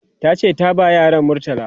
tace ta ba yaran murtala